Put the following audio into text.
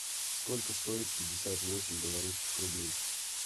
сколько стоит пятьдесят восемь белорусских рублей